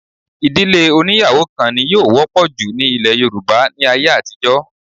Ìdílé oní́yàwó kan ni yóò wọ́pọ̀ jù ní ilẹ̀ Yorùbá ní ayé àtijọ́